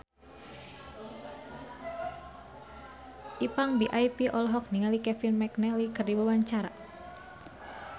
Ipank BIP olohok ningali Kevin McNally keur diwawancara